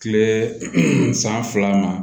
Kile san fila ma